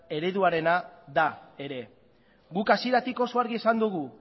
ereduarena da ere guk hasieratik oso argi esan dugu